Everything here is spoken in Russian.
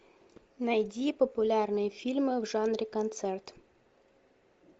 найди популярные фильмы в жанре концерт